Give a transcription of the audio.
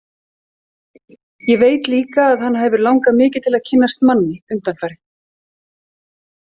Ég veit líka að hana hefur langað mikið til að kynnast manni undanfarið.